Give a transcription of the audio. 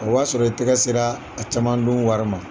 O y'a sɔrɔ i tɛgɛ sera a caman dun wari ma.